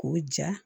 K'o ja